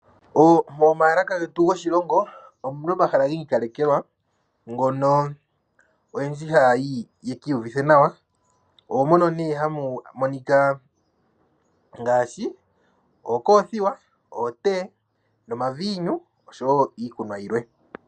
Momaalaka getu goshilongon omu na omahala gi ikalekekwa, ngono oyendji haa ye ki iyuvithe naw, oomono ne hamu monika ngaashi, ookoothiwa, ootee, omaviinu nosho wo iikunwa yilwe.